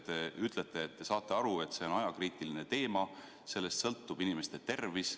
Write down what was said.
Te ütlete, et te saate aru, et see on ajakriitiline teema, sellest sõltub inimeste tervis.